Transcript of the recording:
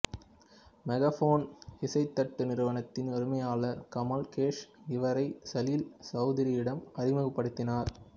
megaphone இசைத் தட்டு நிறுவனத்தின் உரிமையாளர் கமல் கோஷ் இவரை சலில் சௌதுரியிடம் அறிமுகப்படுத்தினார்